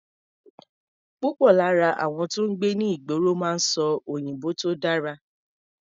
Púpọ̀ lára àwọn tó ń gbé ní ìgboro máa ń sọ òyìnbó tó dára.